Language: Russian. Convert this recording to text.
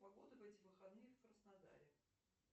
погода в эти выходные в краснодаре